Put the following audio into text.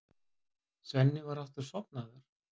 Svenni var aftur sofnaður.